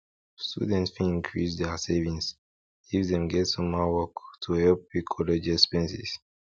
students fit increase their savings if dem get summer work to help pay college expenses